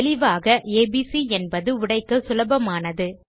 தெளிவாக ஏபிசி என்பது உடைக்க சுலபமானது